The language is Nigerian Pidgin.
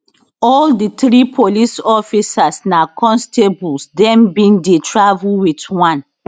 all di three police officers na constables dem bin dey travel wit one